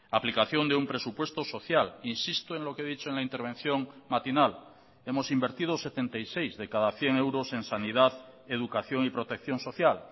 aplicación de un presupuesto social insisto en lo que he dicho en la intervención matinal hemos invertido setenta y seis de cada cien euros en sanidad educación y protección social